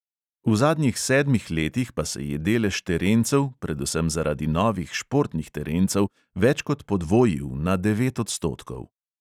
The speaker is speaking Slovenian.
V zadnjih sedmih letih pa se je delež terencev, predvsem zaradi novih športnih terencev, več kot podvojil, na devet odstotkov.